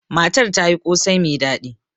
Matar ta yi kosai mai daɗi.